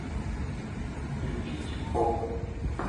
включить поп